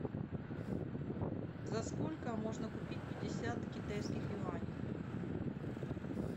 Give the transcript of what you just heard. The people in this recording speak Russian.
за сколько можно купить пятьдесят китайских юаней